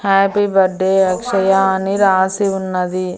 Happy birthday Akshaya అని రాసి ఉన్నది.